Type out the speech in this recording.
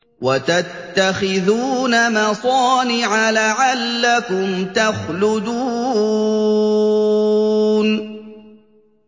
وَتَتَّخِذُونَ مَصَانِعَ لَعَلَّكُمْ تَخْلُدُونَ